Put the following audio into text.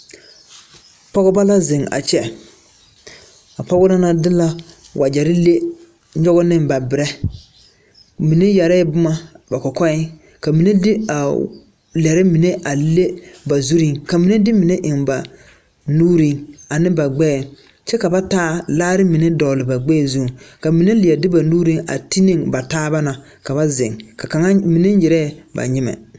Pɔgeba la ziŋ a kyɛ a pɔgeba na de la wagyɛre leŋ nyɔg ne ba berɛ mine yɛrɛɛ boma ba kɔkɔɛ ka mine de a lɛre mine leŋ ne ba zuriŋ ka mine de mine eŋ ba nuuriŋ ane ba gbɛɛŋ kyɛ ka ba taa laare mine dɔgle ba gbɛɛŋ zuŋ ka mine leɛ de ba nuuri a ti ne ba taa na ka ba ziŋ ka kaŋa mine nyerɛɛ ba nyimɛ.